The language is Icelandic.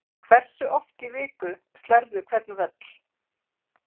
Hversu oft í viku slærðu hvern völl?